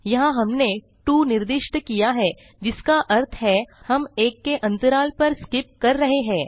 यहाँ हमने 2 निर्दिष्ट किया है जिसका अर्थ है हम 1 के अन्तराल पर स्कीप कर रहे हैं